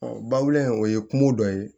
bawule o ye kungo dɔ ye